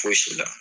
Fosi la